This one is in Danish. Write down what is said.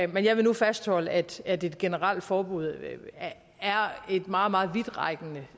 men jeg vil nu fastholde at at et generelt forbud er et meget meget vidtrækkende